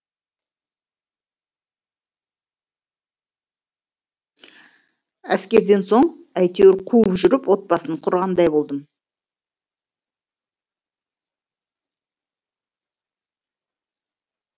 әскерден соң әйтеуір қуып жүріп отбасын құрғандай болдым